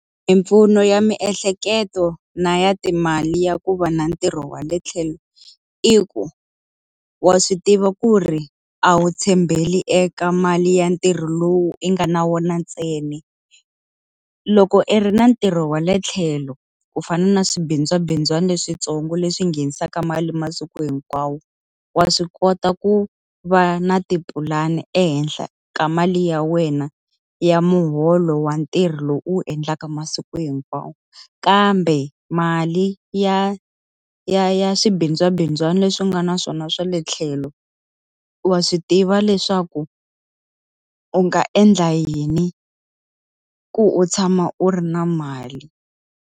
Mimpfuno ya miehleketo na ya timali ya ku va na ntirho wa le tlhelo i ku, wa swi tiva ku ri a wu tshembeli eka mali ya ntirho lowu i nga na wona ntsena. Loko i ri na ntirho wa le tlhelo, ku fana na swibindzwabindzwana leswintsongo leswi nghenisaka mali masiku hinkwawo, wa swi kota ku va na tipulani ehenhla ka mali ya wena ya muholo wa ntirho lowu u wu endlaka masiku hinkwawo. Kambe mali ya ya ya swibindzwabindzwana leswi u nga na swona swa le tlhelo, wa swi tiva leswa ku u nga endla yini ku u tshama u ri na mali.